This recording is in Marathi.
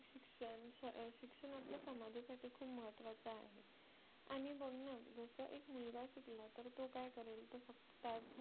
आणि बघ ना जसा एक मुलगा शिकला तर तो काय करेल तो फक्त